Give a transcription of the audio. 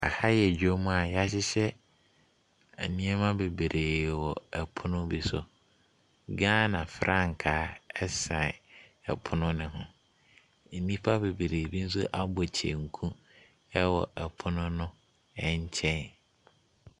Aha yɛ dwom a yɛahyehyɛ nnoɔma bebree wɔ pono bi so. Ghana frankaa ɛsan ɛpono no ho. Nnipa bebree bi nso abɔ kyenku ɛwɔ ɛpono no ɛnkyɛn.